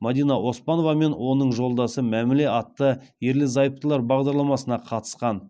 мадина оспанова мен оның жолдасы мәміле атты ерлі зайыптылар бағдарламасына қатысқан